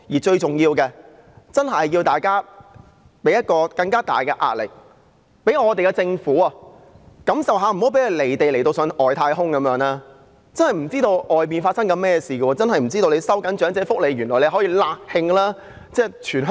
最重要的是，大家真的要向政府施加更大的壓力，讓它感受一下，令它不會"離地"到好像上了外太空般，完全不知道外面發生甚麼事，不知道收緊長者福利會"辣㷫"全香港。